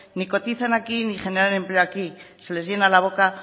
ni cotizan aquí ni generan empleo aquí se les llena la boca